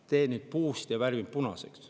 Ma teen nüüd puust ette ja värvin punaseks.